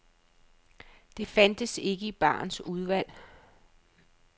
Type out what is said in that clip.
Det fandtes ikke i barens udvalg.